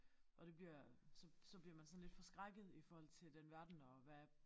Og det bliver så så bliver man sådan lidt forskrækket i forhold til den verden og hvad